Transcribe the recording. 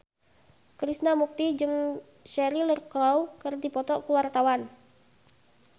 Krishna Mukti jeung Cheryl Crow keur dipoto ku wartawan